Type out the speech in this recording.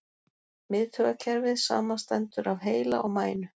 Miðtaugakerfið samanstendur af heila og mænu.